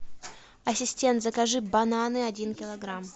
ассистент закажи бананы один килограмм